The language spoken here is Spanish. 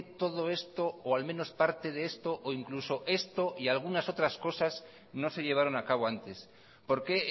todo esto o al menos parte de esto o incluso esto y algunas otras cosas no se llevaron a cabo antes por qué